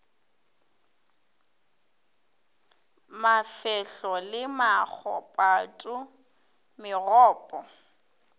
mafehlo le maho pato megopo